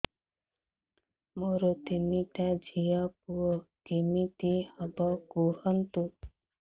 ମୋର ତିନିଟା ଝିଅ ପୁଅ କେମିତି ହବ କୁହତ